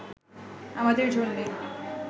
আমাদের জন্যে